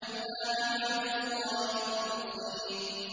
إِلَّا عِبَادَ اللَّهِ الْمُخْلَصِينَ